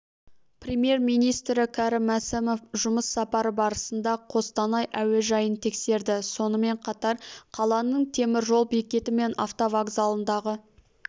премьер-министрі кәрім мәсімов жұмыс сапары барысында қостанай әуежайын тексерді сонымен қатар қаланың теміржол бекеті мен автовокзалындағы